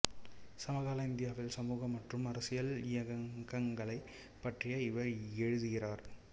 சமகால இந்தியாவில் சமூக மற்றும் அரசியல் இயக்கங்களைப் பற்றி இவர் எழுதுகிறார்